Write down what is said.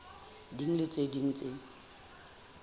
ding le tse ding tse